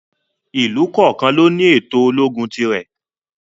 Ìlú kọ̀ọ̀kan ló ní ètò ológun ti rẹ̀.